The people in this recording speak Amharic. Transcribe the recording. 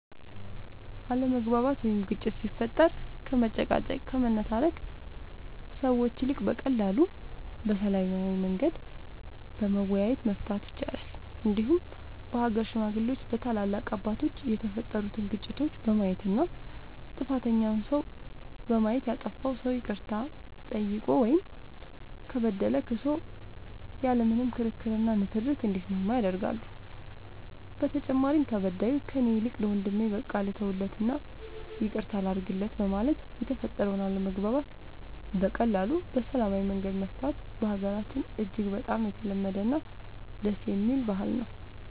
አለመግባባት ወይም ግጭት ሲፈጠር ከመጨቃጨቅ ከመነታረክ ሰዎች ይልቅ በቀላሉ በሰላማዊ መንገድ በመወያየት መፍታት ይቻላል እንዲሁም በሀገር ሽማግሌዎች በታላላቅ አባቶች የተፈጠሩትን ግጭቶች በማየት እና ጥፋተኛውን ሰው በማየት ያጠፋው ሰው ይቅርታ ጠይቆ ወይም ከበደለ ክሶ ያለ ምንም ክርክር እና ንትርክ እንዲስማማ ያደርጋሉ በተጨማሪም ተበዳዩ ከእኔ ይልቅ ለወንድሜ በቃ ልተውለት እና ይቅርታ ላድርግለት በማለት የተፈጠረውን አለመግባባት በቀላሉ በሰላማዊ መንገድ መፍታቱ በሀገራችን እጅግ በጣም የተለመደ እና ደስ የሚል ባህል ነው።